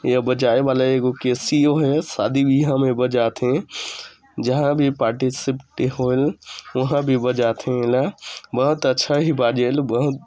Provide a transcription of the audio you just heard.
ये बजाये वाला एगो कसिओ है सदी बियाह में बजाथे जहाँ भी पार्टी शिफटी होये वहां भी बजाथे एला मात्र छह ही बाजेल बहुत--